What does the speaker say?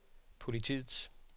politiets